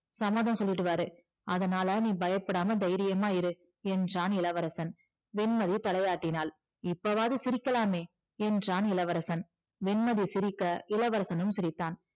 சம்மதம் சொல்லிடுவாரு அதனால நீ பயப்படாம தைரியமா இரு என்றான் இளவரசன் வெண்மதி தலையாட்டினாள் இப்போவாவது சிரிக்கலாமே என்றான் இளவரசன் வெண்மதி சிரிக்க இளவரசனும் சிரித்தான்